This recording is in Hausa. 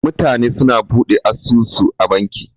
Mutane su na Buɗe asusu a banki.